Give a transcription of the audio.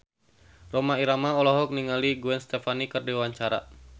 Rhoma Irama olohok ningali Gwen Stefani keur diwawancara